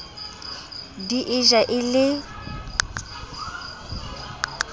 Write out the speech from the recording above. di e ja e le